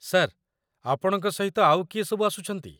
Sir, ଆପଣଙ୍କ ସହିତ ଆଉ କିଏ ସବୁ ଆସୁଛନ୍ତି?